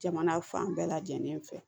Jamana fan bɛɛ lajɛlen fɛ